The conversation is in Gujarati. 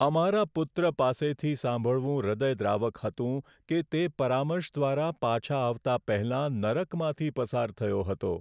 અમારા પુત્ર પાસેથી સાંભળવું હૃદયદ્રાવક હતું કે તે પરામર્શ દ્વારા પાછા આવતા પહેલા નરકમાંથી પસાર થયો હતો.